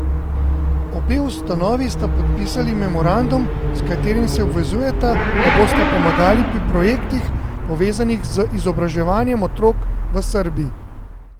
Obe ustanovi sta podpisali memorandum, s katerim se obvezujeta, da bosta pomagali pri projektih, povezanih z izobraževanjem otrok v Srbiji.